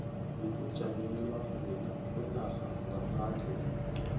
yokujanyelwa kwenarha ngaphandle